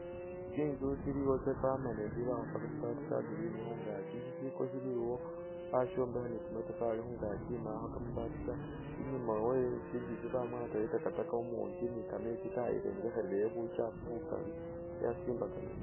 Tsinzu tsiliwo tsa permanent bakhupa kamabati ka green khungakyi, shishiko shili iwo bashombekha ni kamatafari khungakyi mbakho kamabati ta inyuma we tsintsu itsi bamwatayo takataka umungi ni kametsi kayirengekherayo bukyafu bukali ya simbaka nimu.